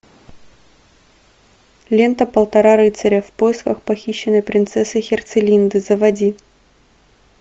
лента полтора рыцаря в поисках похищенной принцессы херцелинды заводи